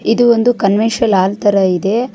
ಇದು ಒಂದು convention hall ತರ ಇದೆ.